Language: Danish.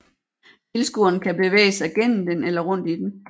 Tilskueren kan bevæge sig gennem den eller rundt i den